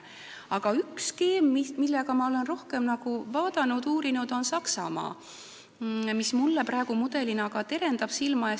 Aga üks skeem, mida ma olen rohkem vaadanud ja uurinud, on Saksamaa mudel, mis mul praegu silme ees terendab.